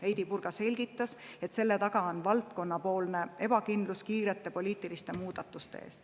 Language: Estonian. Heidy Purga selgitas, et selle taga on spordivaldkonnas valitsev ebakindlus, kardetakse kiireid poliitilisi muudatusi.